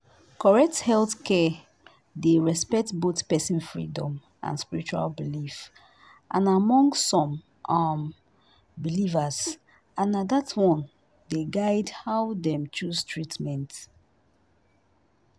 correct healthcare dey respect both person freedom and spiritual belief among some um believers and na that one dey guide how dem choose treatment